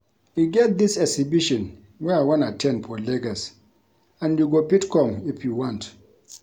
E get dis exhibition wey I wan at ten d for Lagos and you go fit come if you want